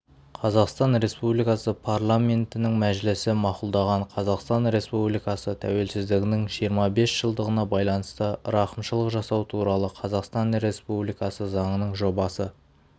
қазақстан республикасы парламентінің мәжілісі мақұлдаған қазақстан республикасы тәуелсіздігінің жиырма бес жылдығына байланысты рақымшылық жасау туралы қазақстан республикасы заңының жобасы